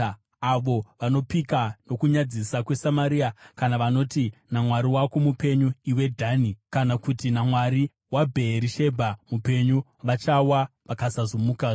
Avo vanopika nokunyadzisa kweSamaria, kana vanoti, ‘Namwari wako mupenyu, iwe Dhani,’ kana kuti, ‘Namwari waBheerishebha mupenyu,’ vachawa, vasingazomukazve.”